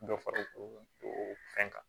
Dɔ fara o fɛn kan